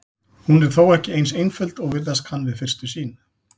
Hún er þó ekki eins einföld og virðast kann við fyrstu sýn.